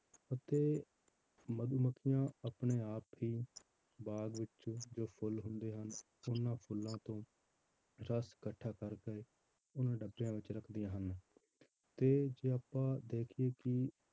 ਅਤੇ ਮਧੂਮੱਖੀਆਂ ਆਪਣੇ ਆਪ ਹੀ ਬਾਗ਼ ਵਿੱਚ ਜੋ ਫੁੱਲ ਹੁੰਦੇ ਹਨ ਉਹਨਾਂ ਫੁੱਲਾਂ ਤੋਂ ਰਸ ਇਕੱਠਾ ਕਰਕੇ ਉਹਨੂੰ ਡੱਬਿਆਂ ਵਿੱਚ ਰੱਖਦੀਆਂ ਹਨ ਤੇ ਜੇ ਆਪਾਂ ਦੇਖੀਏ ਕਿ